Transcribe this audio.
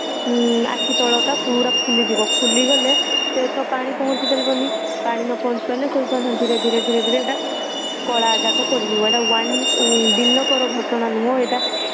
ଆଖି ତଳ ଟା ପୁରା ଫୁଲିଯିବ ଫୁଲିଗଲେ ସେ ତ ପାଣି ପହଞ୍ଚି ପାରିବନି ପାଣି ନ ପହଞ୍ଚି ପାରିଲେ ସେ ଧୀରେ ଧୀରେ ଧୀରେ ଧୀରେ ସେଇଟା କଳା ଦାଗ ପଡିଯିବ ଏଇଟା one ଦିନ କର ଘଟଣା ନୁହେଁ ଏଇଟା